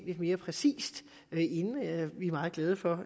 lidt mere præcise vi er meget glade for